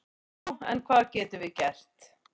Já en hvað getum við gert?